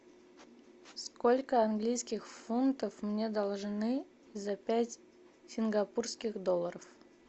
сколько английских фунтов мне должны за пять сингапурских долларов